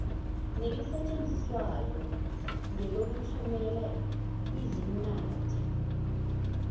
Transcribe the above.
nelisetshenziswayo ngelokuthumela izinwadi